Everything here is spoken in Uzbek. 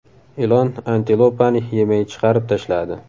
Ilon antilopani yemay chiqarib tashladi .